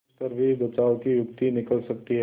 तिस पर भी बचाव की युक्ति निकल सकती है